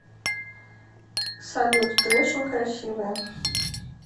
салют ты очень красивая